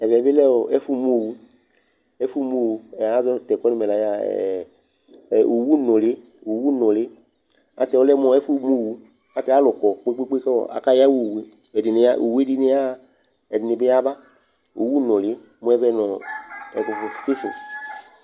Ɛvɛ bɩ lɛ ɛfʋmu owu Ɛfʋmu owu, ɛ azɔ tʋ ɛkʋ yɛ nʋ mɛla yɛ a ɛ ɛ owunʋlɩ Owunʋlɩ ayɛlʋtɛ ɔlɛ mʋ ɛfʋmu owu, ayɛlʋtɛ alʋ kɔ kpe-kpe-kpe kʋ akayawa owu yɛ Ɛdɩnɩ ya owu yɛ dɩnɩ yaɣa, ɛdɩnɩ bɩ yaba Owunʋlɩ mʋ ɛvɛ nʋ ɔ ɛkʋfʋ stasin